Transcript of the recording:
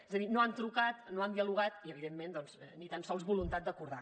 és a dir no han trucat no han dialogat i evidentment doncs ni tan sols voluntat d’acordar